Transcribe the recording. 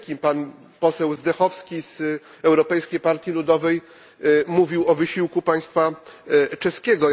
Pan poseł Zdechovský z Europejskiej Partii Ludowej mówił o wysiłku państwa czeskiego.